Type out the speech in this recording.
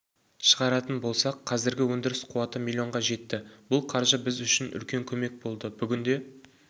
шығаратын болсақ қазіргі өндіріс қуаты млн-ға жетті бұл қаржы біз үшін үлкен көмек болды бүгінде